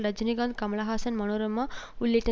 ரஜினிகாந்த் கமல்ஹாசன் மனோரமா உள்ளிட்ட